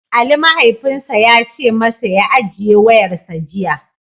Ali mahaifinsa ya ce masa ya "Ajiye wayarsa" jiya.